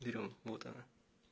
берём вот она